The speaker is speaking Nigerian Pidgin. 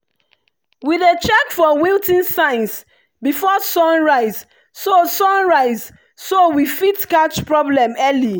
we dey check for wilting signs before sunrise so sunrise so we fit catch problem early.